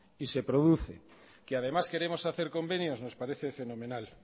y se produce que además queremos hacer convenios nos parece fenomenal